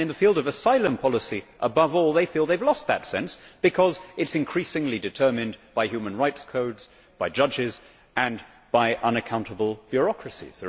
In the field of asylum policy, above all, they feel they have lost that sense because it is increasingly determined by human rights codes, by judges and by unaccountable bureaucracies.